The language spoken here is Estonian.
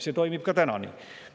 See toimub ka praegu nii.